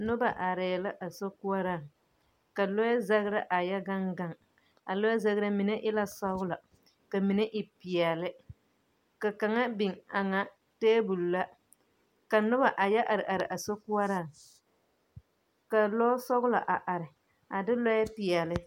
Noba arɛɛ la a sokoɔraaŋ, ka lɔɛ zagra a yɛ gaŋ gaŋ, a lɔɛ zagra, a mine e la sɔgla ka mine e peɛle. Ka kaŋa biŋ aŋa teebul la. Ka noba a yɔ ar ar a sokoɔraaŋ, ka lɔɔsɔglɔ a are a de lɔɔpeɛle.